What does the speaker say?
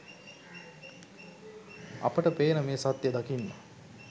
අපට පේන මේ සත්‍යය දකින්න